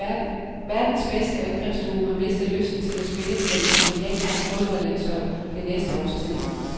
Verdens bedste angrebsduo har mistet lysten til at spille på det brasilianske fodboldlandshold det næste års tid.